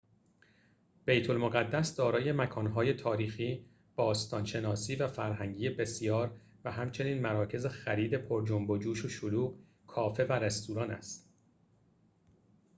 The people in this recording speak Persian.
بیت المقدس دارای مکان‌های تاریخی باستان شناسی و فرهنگی بسیار و همچنین مراکز خرید پر جنب و جوش و شلوغ کافه و رستوران است